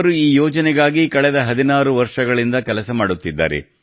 ಅವರು ಈ ಯೋಜನೆಗಾಗಿ ಕಳೆದ 16 ವರ್ಷಗಳಿಂದ ಕೆಲಸ ಮಾಡುತ್ತಿದ್ದಾರೆ